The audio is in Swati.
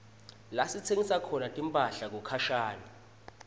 lasitsenga khona timphahla kukhashane